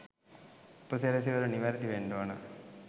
උපසිරැසි වල නිවැරදි වෙන්ඩ ඕන